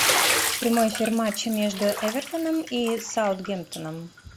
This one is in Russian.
прямой эфир матча между эвертоном и саутгемптоном